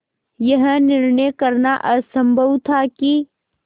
यह निर्णय करना असम्भव था कि